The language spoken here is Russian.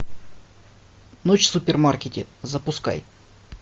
ночь в супермаркете запускай